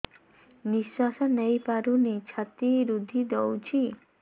ନିଶ୍ୱାସ ନେଇପାରୁନି ଛାତି ରୁନ୍ଧି ଦଉଛି